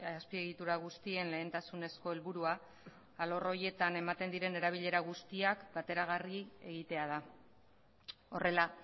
azpiegitura guztien lehentasunezko helburua alor horietan ematen diren erabilera guztiak bateragarri egitea da horrela